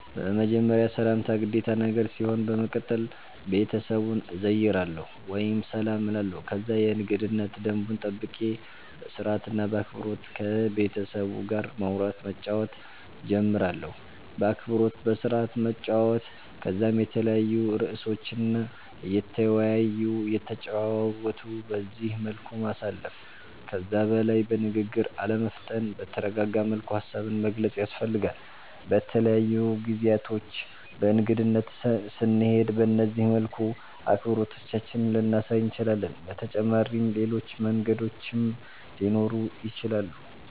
በመጀመርያ ሰላምታ ግዴታ ነገር ሲሆን በመቀተል ቤተሰቡን እዘይራለሁ ወይም ሰላም እላለሁ ከዛ የእንገዳነት ደንቡን ጠብቄ በስርአት እና በአክበሮት ከቤተሰቡ ጋር ማዉራት መጫወት ጀምራለሁ። በአክብሮት በስርአት መጨዋወት ከዛም የተለያዩ እርእሶችን እየተወያዩ እየተጨዋወቱ በዚህ መልኩ ማሳለፍ። ከዛ በላይ በንግግር አለመፍጠን በተረጋጋ መልኩ ሃሳብን መግለፅ ያስፈልጋል። በተለያዩ ጊዜያቶች በእንግድነት ስንሄድ በነዚህ መልኩ አክብሮታችንን ልናሳይ እንችላለን። በተጫመሪም ሌሎች መንገዶችም ሊኖሩ ይችላሉ